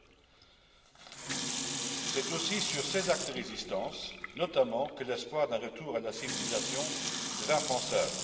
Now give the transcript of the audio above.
30. C'est aussi sur ces actes de résistance notamment que l'espoir d'un retour à la civilisation devint pensable.